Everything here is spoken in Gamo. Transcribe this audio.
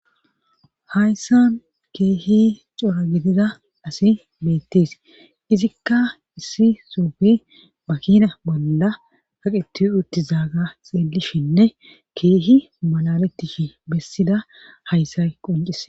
Kayssan keehi cora gitida asi beettees izikka issi suufi makina bolla haqeti uttizaaga xeelishinne keehi malalettish bessida hayssa qoncise.